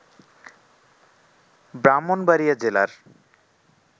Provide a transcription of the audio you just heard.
ব্রাহ্মণবাড়িয়া জেলার